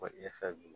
Kɔ e fɛ bolo